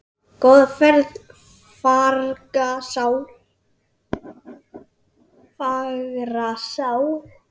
Góða ferð, fagra sál.